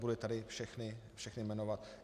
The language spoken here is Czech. Nebudu je tady všechny jmenovat.